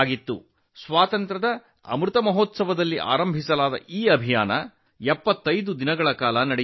ಆಜಾದಿ ಕಾ ಅಮೃತ ಮಹೋತ್ಸವದಲ್ಲಿ ಆರಂಭವಾದ ಈ ಅಭಿಯಾನ 75 ದಿನಗಳ ಕಾಲ ನಡೆಯಿತು